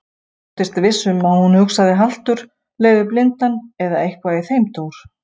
Hann þóttist viss um að hún hugsaði haltur leiðir blindan eða eitthvað í þeim dúr.